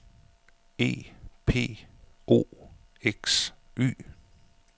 E P O X Y